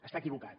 està equivocat